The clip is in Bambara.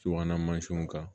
Subahana mansinw kan